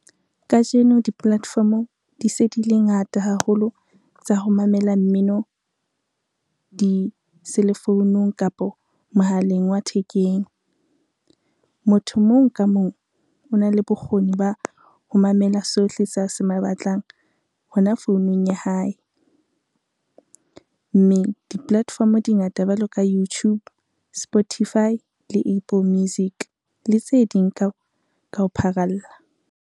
Kajeno di-platform-o di se di le ngata haholo tsa ho mamela mmino, di-cell phone-ung kapo mohaleng wa thekeng. Motho mong ka mong ona le bokgoni ba ho mamela sohle sa se batlang hona founung ya hae. Mme di-platform di ngata jwalo ka YouTube, Spotify le Apple Music le tse ding ka ho pharalla.